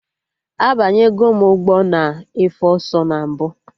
Abanyegom ụgbọ na efe ọsọ na mbụ